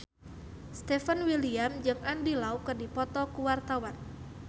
Stefan William jeung Andy Lau keur dipoto ku wartawan